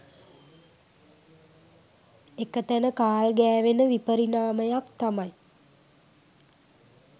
එක තැන කාල් ගෑවෙන විපරිණාමයක් තමයි